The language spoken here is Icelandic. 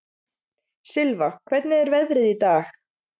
Silfa, hvernig er veðrið í dag?